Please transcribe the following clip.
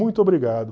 Muito obrigado.